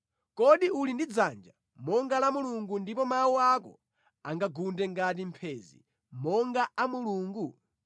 Kodi uli ndi dzanja monga la Mulungu, ndipo mawu ako angagunde ngati mphenzi monga a Mulungu?